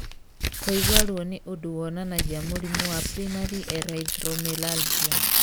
Kũigua ruo nĩ ũndũ wonanagia mũrimũ wa primary erythromelalgia.